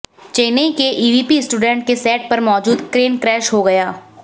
चेन्नई के EVP studio के set पर मौजूद क्रेन क्रैश हो गया